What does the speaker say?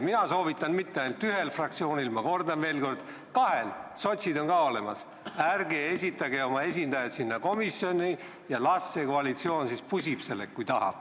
Mina soovitan mitte ainult ühele fraktsioonile, vaid ma kordan veel kord, kahele fraktsioonile, sest sotsid on ka olemas: ärge esitage oma esindajat sinna komisjoni ja las koalitsioon siis pusib sellega, kui tahab.